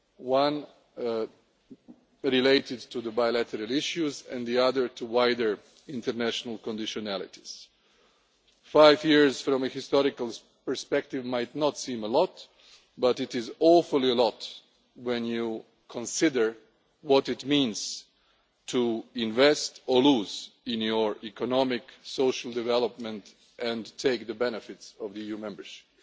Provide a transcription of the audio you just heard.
One relating to the bilateral issues, and the other to wider international conditionalities. Five years from a historical perspective might not seem a lot, but it is an awful lot when you consider what it means to invest or lose in your economic, social development and take the benefits of EU membership.